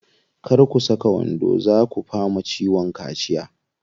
Kar ku saka wando, zaa ku fama ciwon kaciya.